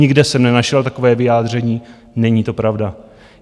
Nikde jsem nenašel takové vyjádření, není to pravda.